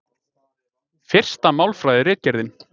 Fyrsta Málfræðiritgerðin.